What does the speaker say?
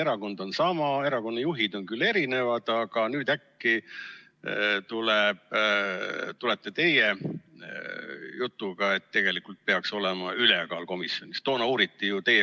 Erakond on sama, erakonna juhid on küll teised, aga nüüd äkki tulete teie jutuga, et tegelikult peaks olema ülekaal komisjonis.